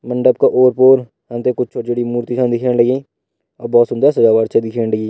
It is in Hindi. मंडप का ओर-पोर हमथे कुछ छोटी-छोटी मूर्ति छन दिखेण लगीं अ भौत सुन्दर सजावट छ दिखेण लगीं।